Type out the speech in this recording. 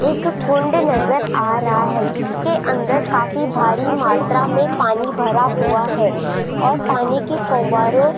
एक कुंड नजर आ रहा है जिसके अंदर काफी भारी मात्रा में पानी भरा हुआ है और पानी के फव्वारों --